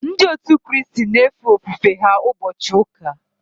Ndị òtù Kristi na efe ofufe ha ụbọchị ụka